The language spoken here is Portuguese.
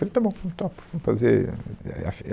Falei, está bom, eu topo, vamos fazer é, é, a